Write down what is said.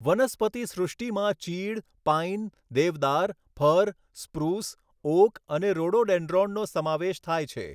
વનસ્પતિ સૃષ્ટિમાં ચીડ, pine, deodar, fir, spruce, oak અને રોડોડેન્ડ્રોનનો સમાવેશ થાય છે.